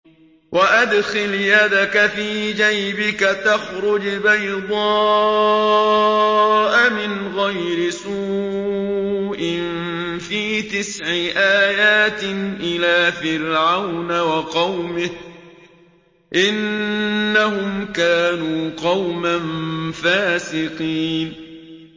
وَأَدْخِلْ يَدَكَ فِي جَيْبِكَ تَخْرُجْ بَيْضَاءَ مِنْ غَيْرِ سُوءٍ ۖ فِي تِسْعِ آيَاتٍ إِلَىٰ فِرْعَوْنَ وَقَوْمِهِ ۚ إِنَّهُمْ كَانُوا قَوْمًا فَاسِقِينَ